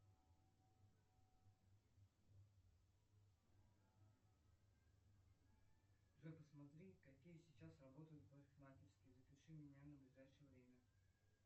джой посмотри какие сейчас работают парикмахерские запиши меня на ближайшее время